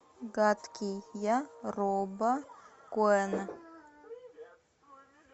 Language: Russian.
гадкий я роба коэна